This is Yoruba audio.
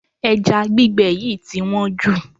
Ẹja gbígbẹ yìí tí wọ́n jù.